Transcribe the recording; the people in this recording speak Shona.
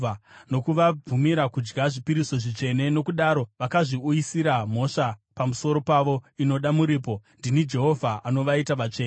nokuvabvumira kudya zvipiriso zvitsvene nokudaro vakazviuyisira mhosva pamusoro pavo inoda muripo. Ndini Jehovha, anovaita vatsvene.’ ”